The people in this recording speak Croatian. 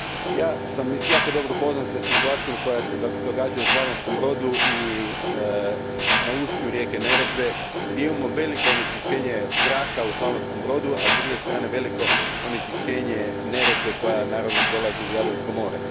Ja sam jako dobro upoznat sa situacijom koja se događa u Slavonskom Brodu i na ušću rijeke Neretve, gdje imamo veliko onečišćenje zraka u Slavonskom Brodu, a s druge strane veliko onečišćenje Neretve koja naravno ulazi u Jadransko more.